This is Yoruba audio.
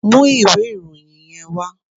Mú ìwé ìròyìn yẹn wá!